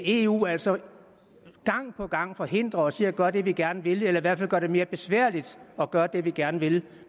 eu altså gang på gang forhindrer os i at gøre det vi gerne vil eller i hvert fald gør det mere besværligt at gøre det vi gerne vil